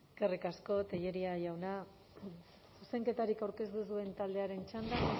eskerrik asko tellería jauna zuzenketarik aurkeztu ez duen taldearen txanda